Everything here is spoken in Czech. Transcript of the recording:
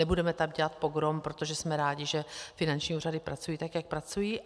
Nebudeme tam dělat pogrom, protože jsme rádi, že finanční úřady pracují tak, jak pracují.